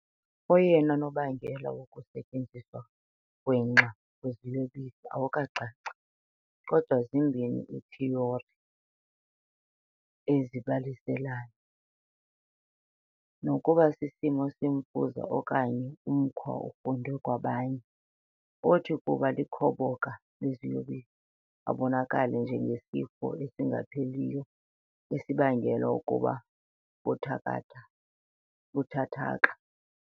Oyena nobangela wokusetyenziswa gwenxa kweziyobisi awukacaci, kodwa zimbini iithiyori ezibalaseleyo- nokuba sisimo semfuza okanye umkhwa ofundwe kwabanye, othi, ukuba likhoboka leziyobisi, ubonakale njengesifo esingapheliyo esibangela ukuba kuthakatha buthathaka .